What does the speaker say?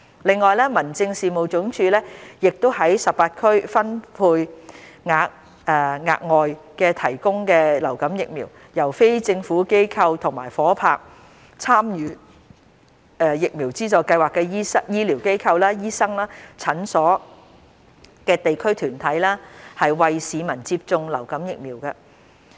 另外，民政事務總署亦將在18區分配額外提供的流感疫苗，由非政府機構及夥拍參與疫苗資助計劃的醫療機構/醫生/診所的地區團體，為市民接種流感疫苗。